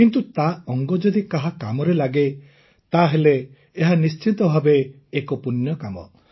କିନ୍ତୁ ତା ଅଙ୍ଗ ଯଦି କାହା କାମରେ ଲାଗେ ତାହେଲେ ଏହା ନିଶ୍ଚିତ ଭାବେ ଏକ ପୂଣ୍ୟକାର୍ଯ୍ୟ